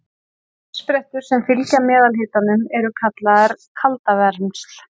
uppsprettur sem fylgja meðalhitanum eru kallaðar kaldavermsl